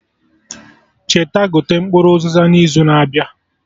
Cheta gote mkpụrụ Uziza na izu na-abịa